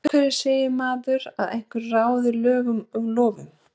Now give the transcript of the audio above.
Af hverju segir maður að einhver ráði lögum og lofum?